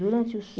Durante o sono